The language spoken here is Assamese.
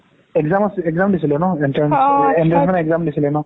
exam exam দিছিলে ন entrance দিছিলে ন